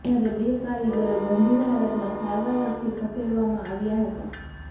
જ્યારે બે કારીગરો ગંભીર હાલતમાં સારવાર અર્થે ખસેડવામાં આવ્યા હતા